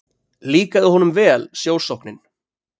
Líkaði honum vel sjósóknin.